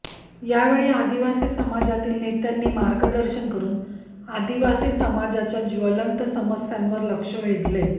यावेळी आदिवासी समाजातील नेत्यांनी मार्गदर्शन करुन आदिवासी समाजाच्या ज्वलंत समस्यांवर लक्ष वेधले